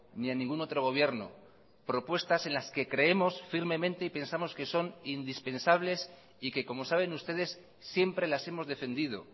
ni a ningún otro gobierno propuestas en las que creemos firmemente y pensamos que son indispensables y que como saben ustedes siempre las hemos defendido